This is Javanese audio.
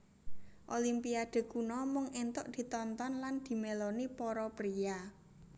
Olimpiade kuno mung entuk ditonton lan dimeloni para priya